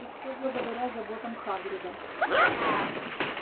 и все благодаря заботам хагрида